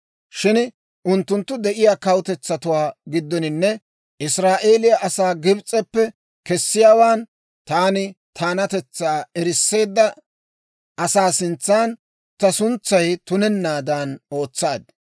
Shin unttunttu de'iyaa kawutetsatuwaa giddoninne Israa'eeliyaa asaa Gibs'eppe kessiyaawaan, taani taanatetsaa erisseedda asaa sintsan ta suntsay tunennaadan ootsaad.